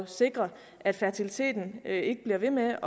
sikre at fertiliteten ikke bliver ved med af